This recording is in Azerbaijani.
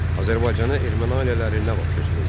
Azərbaycana erməni ailələri nə vaxt köçürüldü?